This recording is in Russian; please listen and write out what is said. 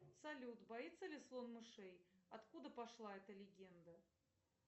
салют боится ли слон мышей откуда пошла эта легенда